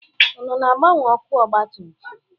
Unu na-agbanwe ọkụ ọgbatumtum?